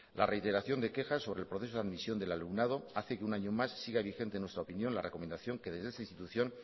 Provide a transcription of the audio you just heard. la reiteración de quejas sobre el proceso de admisión del alumnado hace que un año más siga vigente en nuestra opinión la recomendación que desde esta institución